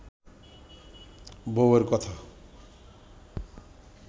বউয়ের কথা